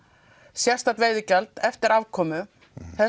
sérstakt veiðigjald eftir afkomu þessu